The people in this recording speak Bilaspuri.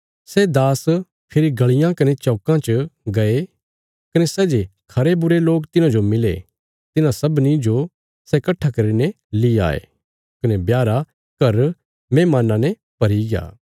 सै दास फेरी गलियां कने चौकां च गये कने सै जे खरे बुरे लोक तिन्हाजो मिले तिन्हां सबनीं जो सै कट्ठा करीने ली आये कने ब्याह रा घर मेहमान्नां ने भरीग्या